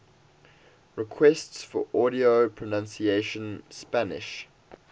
requests for audio pronunciation spanish